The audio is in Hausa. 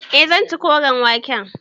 Eh zan ci koren wake.